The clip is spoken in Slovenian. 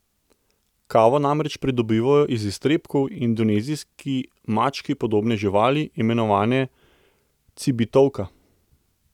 Kavo namreč pridobivajo iz iztrebkov indonezijski mački podobne živali, imenovane cibetovka.